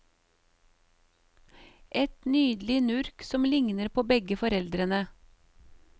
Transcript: Et nydelig nurk som lignet på begge foreldrene.